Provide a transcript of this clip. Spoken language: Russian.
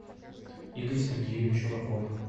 игорь сергеевич ураков